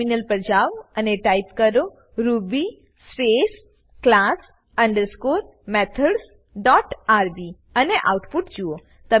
terminal પર જાવ અને ટાઈપ કરો ruby space class underscore methods dot rb અને આઉટપુટ જુઓ